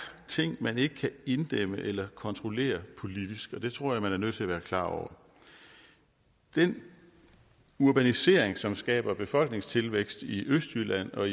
ting man ikke kan inddæmme eller kontrollere politisk og det tror jeg man er nødt til at være klar over den urbanisering som skaber befolkningstilvækst i østjylland og